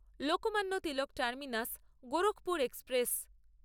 Lokmanya Tilak terminus Gorakhpur express